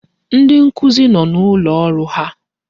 Ndi nkuzi no n'ụlọ ọrụ ha.